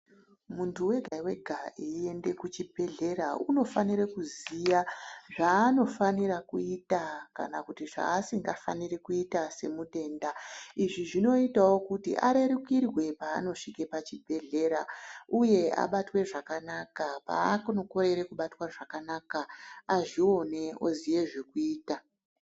Muntu wega-wega eiende kuchibhedhlera unofanire kuziya zvaanofanira kuita kana kuti zvaasingafaniri kuita semutenda. Izvi zvinoitavo kuti arerukirwe paanosvike pachibhedhlera, uye abatwe zvakanaka paakunokorere kubatwa zvakanaka azvione aziye zvekuita.